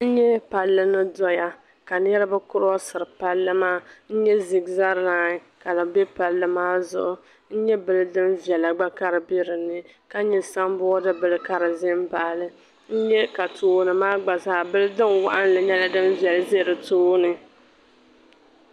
N nyɛ palli ni doya, ka niribi curoseri palli maa, n nyɛ zibira laɣim ka di do palli maa zuɣu, n nyɛ bilidin bela ka di be ni maa ni, ka nyɛ san boad bila ni ʒa ni maa ni, n nyɛ ka tooni maa mi gba zaa bilidin waɣila be tooni maa